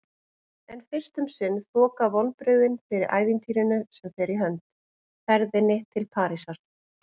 En fyrst um sinn þoka vonbrigðin fyrir ævintýrinu sem fer í hönd: ferðinni til Parísar.